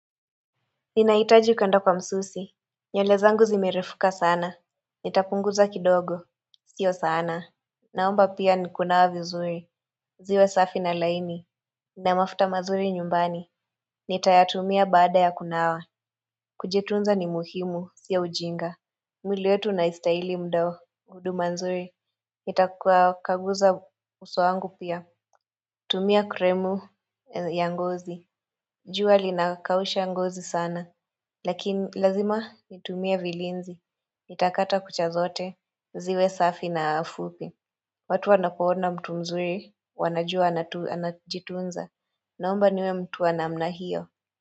Ninahitaji kwenda kwa msusi. Nywele zangu zimerefuka sana. Nitapunguza kidogo. Sio sana. Naomba pia kunawa vizuri. Ziwe safi na laini. Na mafuta mazuri nyumbani. Nitayatumia baada ya kunawa. Kujitunza ni muhimu. Sio ujinga. Miili yetu inastahili muda huo. Huduma nzuri. Nitakuwa kaguza uso wangu pia. Tumia kremu ya ngozi. Jua linakausha ngozi sana. Lakini lazima nitumie vilinzi, nitakata kucha zote, ziwe safi na fupi. Watu wanapo ona mtu mzuri, wanajua anajitunza, naomba niwe mtu wa namna hiyo.